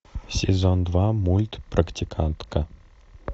сезон два мульт практикантка